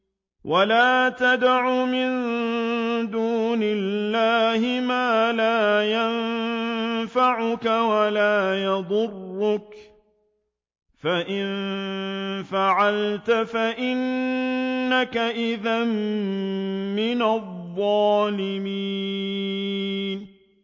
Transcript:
وَلَا تَدْعُ مِن دُونِ اللَّهِ مَا لَا يَنفَعُكَ وَلَا يَضُرُّكَ ۖ فَإِن فَعَلْتَ فَإِنَّكَ إِذًا مِّنَ الظَّالِمِينَ